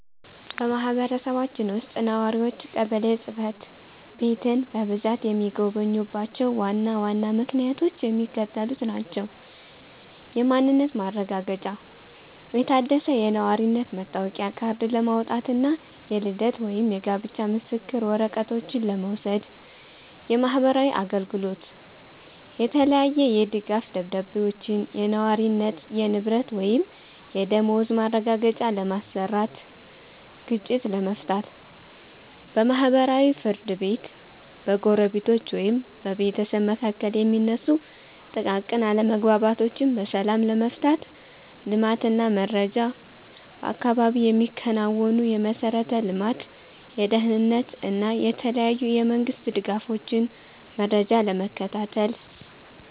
በማህበረሰባችን ውስጥ ነዋሪዎች ቀበሌ ጽሕፈት ቤትን በብዛት የሚጎበኙባቸው ዋና ዋና ምክንያቶች የሚከተሉት ናቸው፦ የማንነት ማረጋገጫ፦ የታደሰ የነዋሪነት መታወቂያ ካርድ ለማውጣት እና የልደት ወይም የጋብቻ ምስክር ወረቀቶችን ለመውሰድ። የማህበራዊ አገልግሎት፦ የተለያየ የድጋፍ ደብዳቤዎችን (የነዋሪነት፣ የንብረት ወይም የደመወዝ ማረጋገጫ) ለማሰራት። ግጭት መፍታት፦ በማህበራዊ ፍርድ ቤት በጎረቤቶች ወይም በቤተሰብ መካከል የሚነሱ ጥቃቅን አለመግባባቶችን በሰላም ለመፍታት። ልማት እና መረጃ፦ በአካባቢው የሚከናወኑ የመሠረተ ልማት፣ የደህንነት እና የተለያዩ የመንግስት ድጋፎችን መረጃ ለመከታተል።